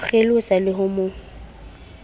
mo kgelosa le ho mo